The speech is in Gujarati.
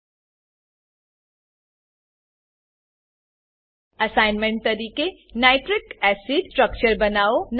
અસાઇનમેન્ટ તરીકે nitric acid nitric acid structure બનાવો